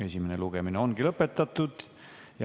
Esimene lugemine ongi lõpetatud.